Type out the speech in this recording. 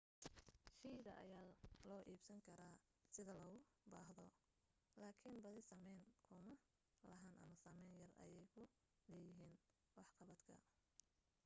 shayda ayaa loo iibsan karo sida loogu baahdo laakin badi saamayn ku ma lahan ama saamayn yar ayee ku leeyihiin waxqabadka